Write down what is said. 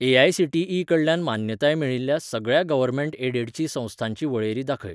AICTE कडल्यान मान्यताय मेळिल्ल्या सगळ्या गव्हर्मेंट एडेडची संस्थांची वळेरी दाखय